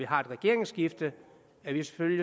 har et regeringsskifte